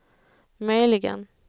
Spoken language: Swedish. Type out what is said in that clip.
möjligen